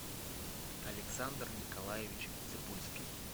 александр николаевич цыбульский